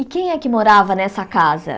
E quem é que morava nessa casa?